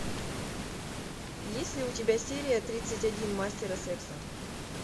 есть ли у тебя серия тридцать один мастера секса